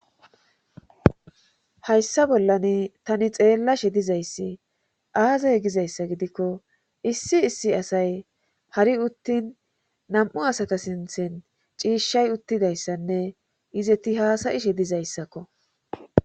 Hayssa bollani tani xeellashe dizayssi aazay gizayssa gidikko issi issi asay hari uttin nam'u asaka sinthen ciishshay uttidayssanne izeti haasayishe dizayssakko.